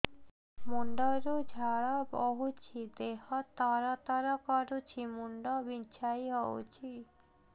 ମୁଣ୍ଡ ରୁ ଝାଳ ବହୁଛି ଦେହ ତର ତର କରୁଛି ମୁଣ୍ଡ ବିଞ୍ଛାଇ ହଉଛି